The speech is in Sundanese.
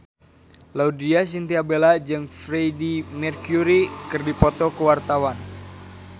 Laudya Chintya Bella jeung Freedie Mercury keur dipoto ku wartawan